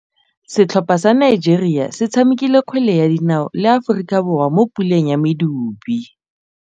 Setlhopha sa Nigeria se tshamekile kgwele ya dinaô le Aforika Borwa mo puleng ya medupe.